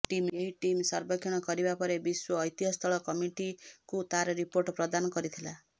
ଏହି ଟିମ୍ ସର୍ବେକ୍ଷଣ କରିବା ପରେ ବିଶ୍ୱ ଐତିହ୍ୟସ୍ଥଳ କମିଟିକୁ ତାର ରିପୋର୍ଟ ପ୍ରଦାନ କରିଥିଲା